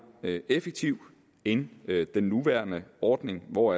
effektiv end den nuværende ordning hvor